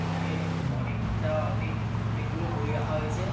এখানে অনেকটা অনেক অনেকগুলো বই রাখা হয়েছে।